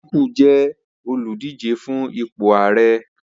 Atiku jẹ́ olùdíje fún ipò Ààrẹ.